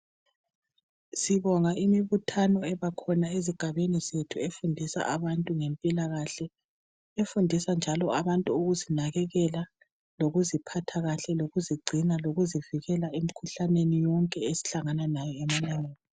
Sibonga imibuthano ebekhona ezigabeni zethu, efundisa abantu ngezemphilakahle. efundisa njalo abantu ngokuzinakekela, lokuziphatha kahle, lokuzigcina, lokuzivikela emikhuhlaneni yonke isihlangana layo.